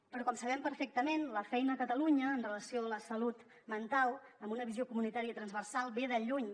però com sabem perfectament la feina a catalunya en relació amb la salut mental amb una visió comunitària transversal ve de lluny